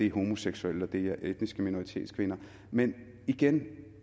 homoseksuelle og det er etniske minoritetskvinder men igen